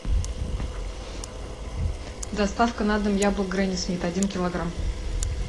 доставка на дом яблок гренни смит один килограмм